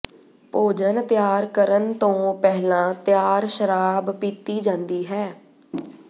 ਭੋਜਨ ਤਿਆਰ ਕਰਨ ਤੋਂ ਪਹਿਲਾਂ ਤਿਆਰ ਸ਼ਰਾਬ ਪੀਤੀ ਜਾਂਦੀ ਹੈ